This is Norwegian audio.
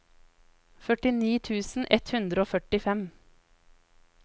førtini tusen ett hundre og førtifem